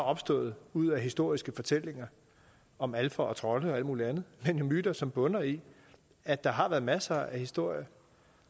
opstået ud af historiske fortællinger om alfer og trolde og alt muligt andet men myter som bunder i at der har været masser af historier